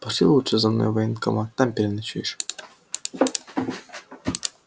пошли лучше за мной в военкомат там переночуешь